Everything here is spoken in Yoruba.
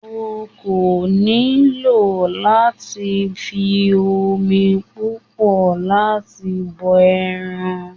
O kò nílò láti fi omi púpọ̀ láti bọ ẹran.